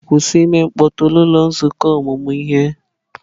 Kwụsị ime mkpọtụ n'ụlọ nzukọ ọmụmụ ihe!